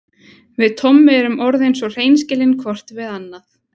Við Tommi erum orðin svo hreinskilin hvort við annað.